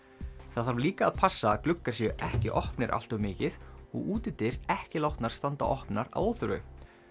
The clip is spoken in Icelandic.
það þarf líka að passa að gluggar séu ekki opnir allt of mikið og útidyr ekki látnar standa opnar að óþörfu